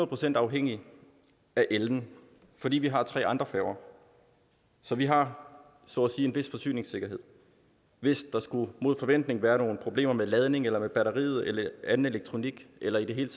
procent afhængig af ellen fordi vi har tre andre færger så vi har så at sige en vis forsyningssikkerhed hvis der mod forventning skulle være nogle problemer med ladning eller med batteriet eller anden elektronik eller i det hele